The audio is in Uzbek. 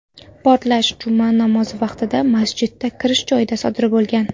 Portlash juma namozi vaqtida, masjidga kirish joyida sodir bo‘lgan.